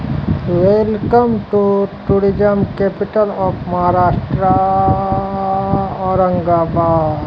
Welcome to tourism capital of Maharashtra आ औरंगाबाद।